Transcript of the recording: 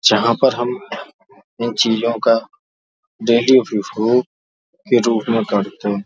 जहा पर हम उन चीज़ो का डेली उपयोगो के रूप में करते है।